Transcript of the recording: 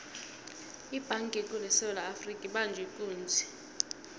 ibhanga ekulu esewula afrika ibanjwe ikunzi